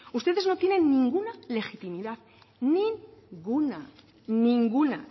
ustedes no tienen ninguna legitimidad ninguna ninguna